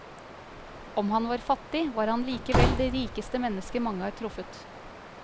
Om han var fattig, var han likevel det rikeste menneske mange har truffet.